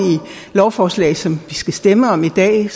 lovforslag som vi skal stemme om i dag